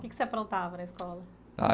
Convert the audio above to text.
O que que você aprontava na escola?